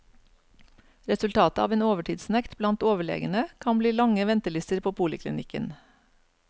Resultatet av en overtidsnekt blant overlegene kan bli lange ventelister på poliklinikken.